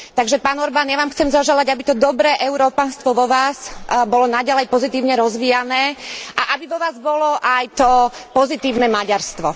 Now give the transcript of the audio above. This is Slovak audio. Takže, pán Orbán, ja vám chcel zaželať, aby to dobré európanstvo vo vás bolo naďalej pozitívne rozvíjané a aby vo vás bolo aj to pozitívne maďarstvo.